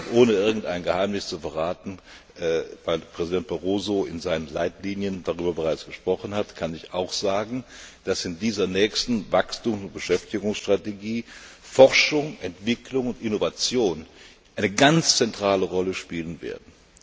Ohne irgendein Geheimnis zu verraten weil Präsident Barroso in seinen Leitlinien bereits darüber gesprochen hat kann ich auch sagen, dass in dieser nächsten Wachstums und Beschäftigungstrategie Forschung, Entwicklung und Innovation eine ganz zentrale Rolle spielen werden.